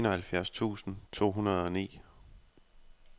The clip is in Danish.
enoghalvfjerds tusind to hundrede og ni